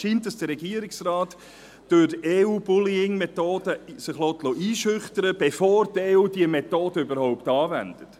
Es scheint, dass sich der Regierungsrat durch die EUBullying-Methoden einschüchtern lässt, bevor die EU diese Methode überhaupt anwendet.